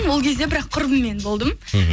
ол кезде бірақ құрбыммен болдым мхм